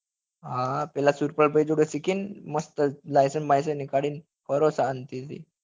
હા હા પેલા સુરપાલ ભાઈ જોડે સીખી ને મસ્ત licence બૈસંસ નીકાળી ને ફરો શાંતિ થી